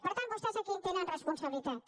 per tant vostès aquí hi tenen responsabilitats